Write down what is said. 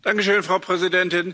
Frau Präsidentin!